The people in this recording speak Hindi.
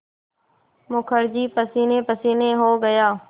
मुखर्जी पसीनेपसीने हो गया